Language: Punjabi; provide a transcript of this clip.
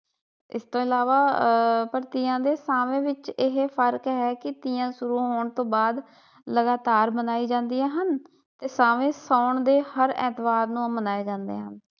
ਇਸ ਤੋਂ ਇਲਾਵਾ ਆਹ ਪਰ ਤੀਆਂ ਤੇ ਸ਼ਾਵੇ ਵਿਚ ਇਹ ਫਰਕ ਹੈ ਕੀ ਤੀਆਂ ਸ਼ੁਰੂ ਹੋਣ ਤੋਂ ਬਾਅਦ ਲਗਾਤਾਰ ਮਨਾਈ ਜਾਂਦੀਆਂ ਹਨ ਤੇ ਸ਼ਾਵੇ ਸਾਉਣ ਦੇ ਹਰ ਐਤਵਾਰ ਨੂੰ ਮਨਾਏ ਜਾਂਦੇ ਹਨ।